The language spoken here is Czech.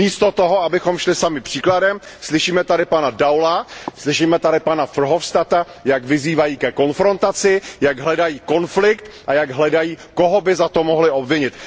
Místo toho, abychom šli sami příkladem, slyšíme tady pana Daula, slyšíme tady pana Verhofstadta, jak vyzývají ke konfrontaci, jak hledají konflikt a jak hledají, koho by za to mohli obvinit.